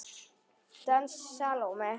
Dans Salóme.